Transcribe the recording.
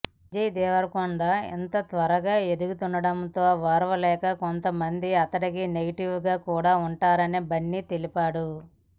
విజయ్ దేవరకొండ ఇంత త్వరగా ఎదుగుతుండడంతో ఓర్వలేక కొంతమంది అతడికి నెగిటివ్ గా కూడా ఉన్నారని బన్నీ తెలిపాడు